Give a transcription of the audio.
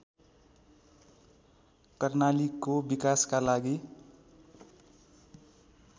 कर्णालीको विकासका लागि